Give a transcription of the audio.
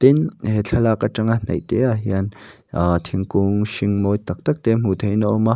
tin he thlalak atanga hnaih te ah hian aa thingkung hring mawi tak tak te hmuh theihin a awm a.